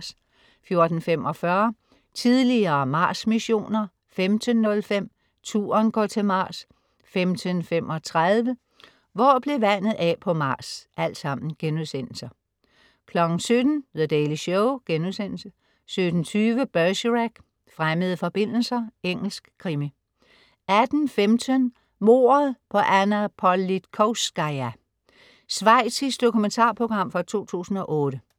14.45 Tidligere Mars-missioner* 15.05 Turen går til Mars* 15.35 Hvor blev vandet af på Mars?* 17.00 The Daily Show* 17.20 Bergerac: Fremmede forbindelser. Engelsk krimi 18.15 Mordet på Anna Politkovskaja. Schweizisk dokumentarprogram fra 2008